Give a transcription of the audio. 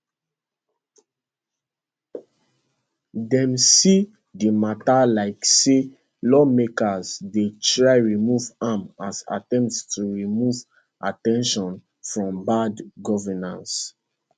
dem see di mata like say lawmakers dey try remove am as attempt to remove at ten tion from bad governance